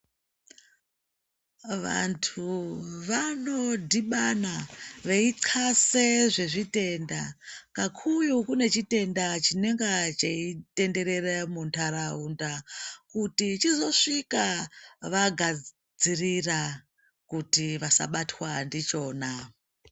Vantu anodhibana veiyi kase zvezvitenda kakuyu kunechitenda chinenge cheitenderere muntaraunda kuti chizosvika vagadzirira kuti vasabatwa ndichona.